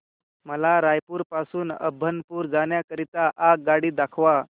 मला रायपुर पासून अभनपुर जाण्या करीता आगगाडी दाखवा